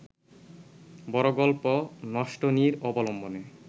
বড় গল্প নষ্টনীড় অবলম্বনে